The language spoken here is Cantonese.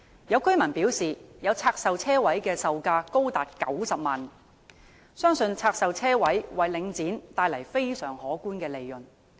有居民表示，有拆售車位的售價高達90萬元，相信拆售車位為領展帶來非常可觀的利潤。